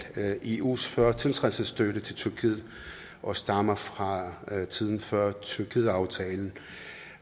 eus førtiltrædelsesbistand til tyrkiet og stammer fra tiden før eu tyrkiet aftalen